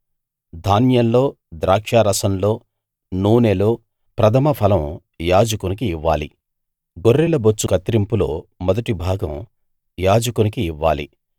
ధాన్యంలో ద్రాక్షారసంలో నూనెలో ప్రథమ ఫలం యాజకునికి ఇవ్వాలి గొర్రెల బొచ్చు కత్తిరింపులో మొదటి భాగం యాజకునికి ఇవ్వాలి